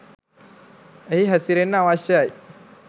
එහි හැසිරෙන්න අවශ්‍යයි.